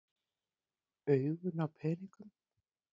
Augun á peningunum.